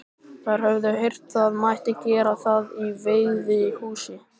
Þær höfðu heyrt það mætti gera það í veiðihúsi.